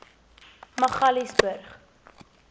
magaliesburg